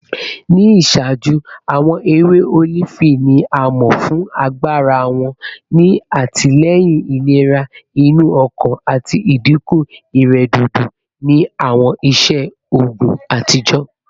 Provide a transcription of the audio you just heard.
Ni iṣaaju, awọn ewe olifi ni a mọ fun agbara wọn ni atilẹyin ilera inu ọkan ati idinku iredodo ni awọn iṣe oogun atijọ